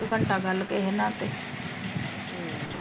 ਇੱਕ ਘੰਟਾ ਗੱਲ ਕੇ ਤੇ ਹਮ